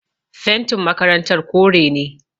Fentin makarantar kore ne